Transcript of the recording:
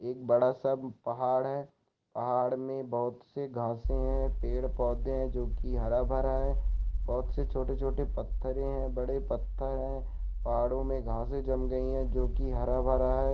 एक बड़ा-सा पहाड़ है पहाड़ मे बहोत से घासें है पेड़-पौधे है जोकि हरा-भरा है बहोत से छोटे-छोटे पत्थरे है बड़े पत्थर है पहाड़ो मे घासें जम गई है जोकि हरा-भरा है।